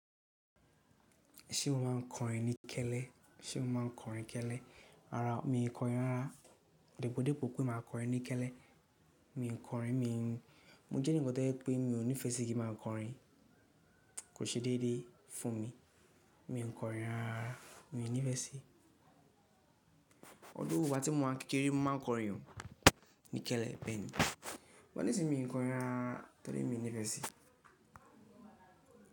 Ṣé mo máa ń kọrin ní kẹ́lẹ́? Ṣé mo máa ń kọrin kẹ́lẹ́? Rárá mi ò kọrin rárá. Òdìbò dépo pé màá kọrin ní kẹ́lẹ́, mi ò kọrin, mi ò ń. Mo jẹ́ ní nǹkan tó jẹ́ pé mi ò nífẹ́ sí kí màá kọrin, kò ṣe déédéé fún mi. Mi ò kọrin rárá, mi ò nífẹ́ sí i. Ọdún orúkọ tí mo wà kékeré, mo máa ń kọrin ní kẹ́lẹ́ bẹ́ẹ̀ ni, wọ́n ní sí mi kọrin rárá nítorí mi ò nífẹ́ sí i.